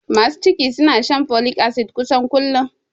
Masu ciki suna shan folik asid kusan kullum